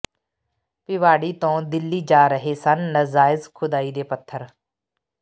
ਭਿਵਾੜੀ ਤੋਂ ਦਿੱਲੀ ਜਾ ਰਹੇ ਸਨ ਨਾਜਾਇਜ਼ ਖੁਦਾਈ ਦੇ ਪੱਥਰ